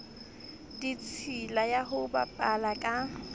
ditshila ya ho bapala ka